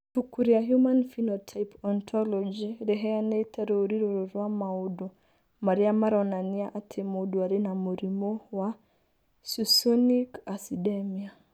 Ibuku rĩa Human Phenotype Ontology rĩheanĩte rũũri rũrũ rwa maũndũ marĩa maronania atĩ mũndũ arĩ na mũrimũ wa Succinic acidemia.